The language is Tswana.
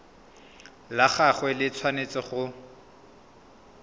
la gagwe le tshwanetse go